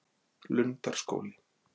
Lundarskóli